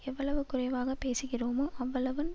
எவ்வளவு குறைவாக பேசுகிறோமோ அவ்வளவு